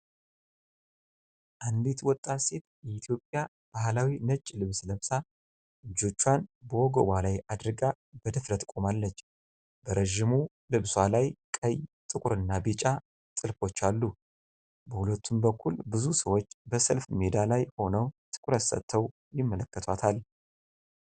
አንዲት ወጣት ሴት የኢትዮጵያ ባህላዊ ነጭ ልብስ ለብሳ፣ እጆቿን በወገቧ ላይ አድርጋ በድፍረት ቆማለች። በረጅሙ ልብሷ ላይ ቀይ፣ ጥቁርና ቢጫ ጥልፎች አሉ። በሁለቱም በኩል ብዙ ሰዎች በሰልፍ ሜዳ ላይ ሆነው ትኩረት ሰጥተው ይመለከቷታል።